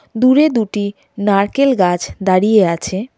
দূরে দুটি নারকেল গাছ দাঁড়িয়ে আছে।